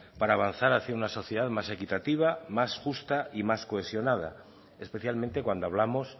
para avanzar hacia una sociedad más equitativa más justa y más cohesionada especialmente cuando hablamos